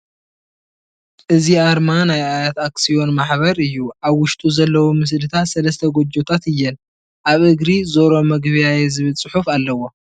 እዚ ኣርማ ናይ ኣያት ኣክስዮም ማሕበር እዩ ኣብ ውሽጡ ዘሎዉ ምስልታት ሰለስተ ጎጆ ታት እየን ኣብ እግሪ ዞሮ መግቢያየ ዝብል ዕሑፍ ኣለዎ ።